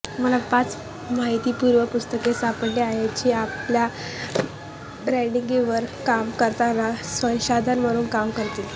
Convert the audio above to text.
मला पाच माहितीपूर्ण पुस्तके सापडली आहेत जी आपल्या ब्रँडिंगवर काम करताना संसाधन म्हणून काम करतील